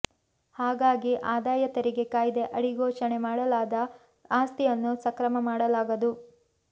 ಹಾಗಾಗಿ ಆದಾಯ ತೆರಿಗೆ ಕಾಯ್ದೆ ಅಡಿ ಘೋಷಣೆ ಮಾಡಲಾದ ಆಸ್ತಿಯನ್ನು ಸಕ್ರಮ ಮಾಡಲಾಗದು